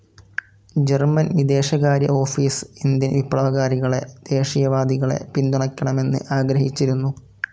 German വിദേശകാര്യ office Indian വിപ്ലവകാരികളെ, ദേശീയവാദികളെ പിന്തുണയ്ക്കണമെന്ന് ആഗ്രഹിച്ചിരുന്നു.